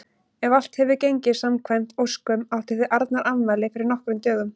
Ef allt hefur gengið samkvæmt óskum áttuð þið Arnar afmæli fyrir nokkrum dögum.